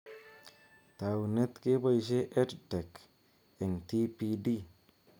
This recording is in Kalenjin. Taunet: keboishe EdTech eng TPD